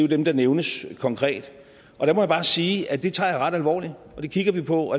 dem der nævnes konkret og der må jeg bare sige at det tager jeg ret alvorligt og det kigger vi på